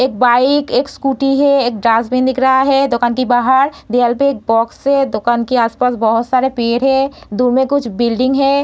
एक बाइक एक स्कूटी है एक डस्टबिन दिखा रहा है दुकान के बाहर दीवाल पे एक बॉक्स है | दुकान के आस-पास बहुत सारे पेड़ हैं | दूर मै कुछ बिल्डिंग है |